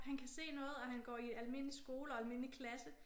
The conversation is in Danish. Han kan se noget og han går i almindelig skole og almindelig klasse